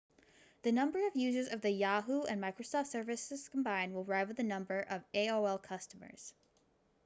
the number of users of the yahoo and microsoft services combined will rival the number of aol's customers